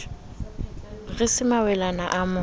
re se mawelana o mo